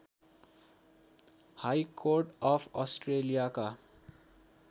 high court of अस्ट्रेलियाका